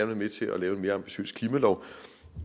være med til at lave en mere ambitiøs klimalov